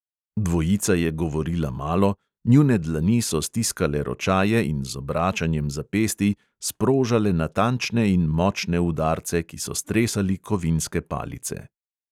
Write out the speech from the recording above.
Dvojica je govorila malo, njune dlani so stiskale ročaje in z obračanjem zapestij sprožale natančne in močne udarce, ki so stresali kovinske palice.